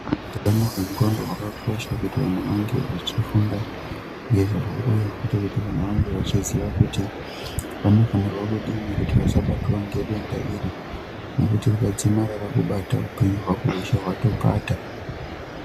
Utano hwendxondo hwakakosha kuti vantu vange vachifunda ngezvahwo uye futi kuti muntu ange achiziya kuti anofanirwa kudini asabatwa ngedenda iri ngekuti rikadzimara rakubata upenyu hwako hweshe hwatopata.